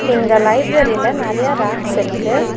இந்த லைப்ரரில நெறையா ரேக்ஸ் இருக்கு.